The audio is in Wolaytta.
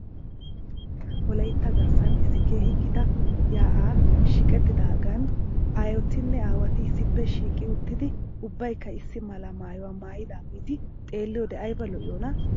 Wolaytta garssan issi keehi gita yaa'ay shiiqettidaagan aayotinne aawati issippe shiiqi uttidi ubbaykka issi mala maayuwaa maayidaageeti xeeliyoode ayba lo'iyoonaa?